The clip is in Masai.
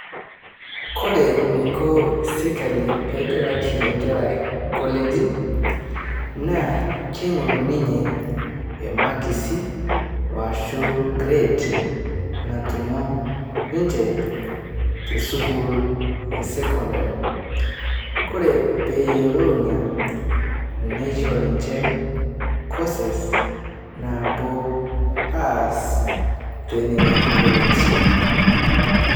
Kore neiko sirikali pegelaki nkera koleji naa keing'ur ninye emakisi washu kred natumo ninche tesukul esekondari kore peyelou ina neishoo ninche koses napuo aas tenenia koleji.